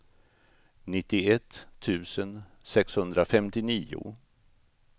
nittioett tusen sexhundrafemtionio